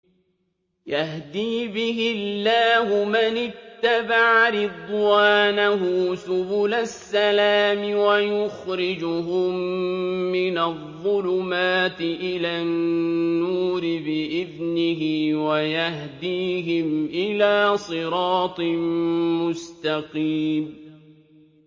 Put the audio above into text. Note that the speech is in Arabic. يَهْدِي بِهِ اللَّهُ مَنِ اتَّبَعَ رِضْوَانَهُ سُبُلَ السَّلَامِ وَيُخْرِجُهُم مِّنَ الظُّلُمَاتِ إِلَى النُّورِ بِإِذْنِهِ وَيَهْدِيهِمْ إِلَىٰ صِرَاطٍ مُّسْتَقِيمٍ